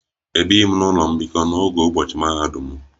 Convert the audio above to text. Ebighi m n'ụlọ mbikọ n'oge ụbọchị mahadum m